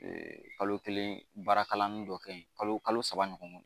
kalo kelen baara kalanni dɔ kɛ yen kalo saba ɲɔgɔn